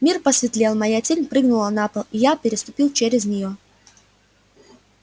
мир посветлел моя тень прыгнула на пол и я переступил через неё